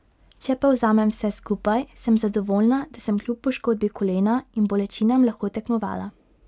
Če povzamem vse skupaj, sem zadovoljna da sem kljub poškodbi kolena in bolečinam lahko tekmovala.